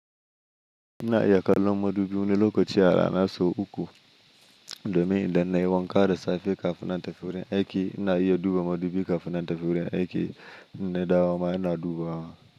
Ina iya kallon madubi wani lokaci rana so uku domin idan nayi wanka da safe kafin na tafi wurin aiki ina iya duba madubi kafin na tafi wurin aiki na dawo ma ina dubawa.